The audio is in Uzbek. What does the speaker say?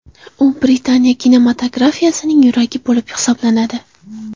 U Britaniya kinematografiyasining yuragi bo‘lib hisoblanadi.